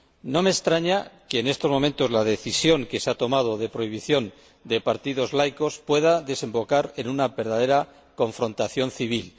No me extraña que, en estos momentos, la decisión que se ha tomado de prohibir los partidos laicos pueda desembocar en una verdadera confrontación civil.